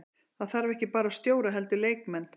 Það þarf ekki bara stjóra heldur leikmenn.